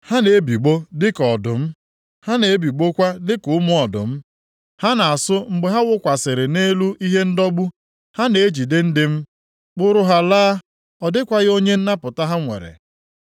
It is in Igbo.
Ha na-ebigbọ dịka ọdụm, ha na-ebigbọkwa dịka ụmụ ọdụm; ha na-asụ mgbe ha wụkwasịrị nʼelu ihe ndọgbu. Ha na-ejide ndị m, kpụrụ ha laa, ọ dịkwaghị onye nnapụta ha nwere.